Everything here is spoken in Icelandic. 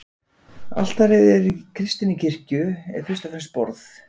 Altarið í kristinni kirkju er fyrst og fremst borð.